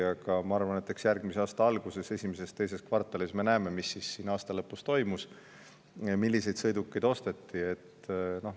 Aga ma arvan, et järgmise aasta alguses, esimeses ja teises kvartalis me näeme, mis siis aasta lõpus toimus, milliseid sõidukeid osteti.